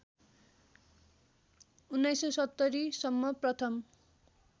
१९७० सम्म प्रथम